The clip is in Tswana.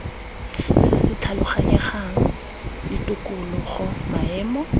se se tlhaloganyegang tikologo maemo